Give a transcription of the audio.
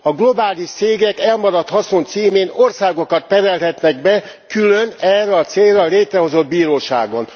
A globális cégek elmaradt haszon címén országokat perelhetnek be külön erre a célra létrehozott bíróságon.